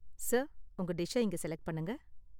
Sir, உங்க டிஷ்ஷ இங்க செலக்ட் பண்ணுங்க.